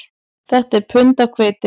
Þetta er pund af hveiti